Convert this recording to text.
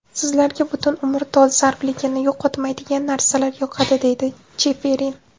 Sizlarga butun umr dolzarbligini yo‘qotmaydigan narsalar yoqadi”, deydi Cheferin.